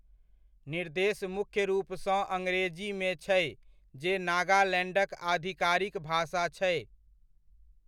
निर्देश मुख्य रूपसँ अंग्रेजीमे छै जे नागालैंडक आधिकारिक भाषा छै।